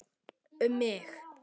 Um mig?